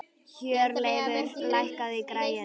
Hjörleifur, lækkaðu í græjunum.